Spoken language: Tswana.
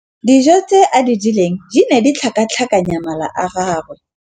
Dijô tse a di jeleng di ne di tlhakatlhakanya mala a gagwe.